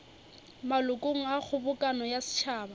malokong a kgobokano ya setšhaba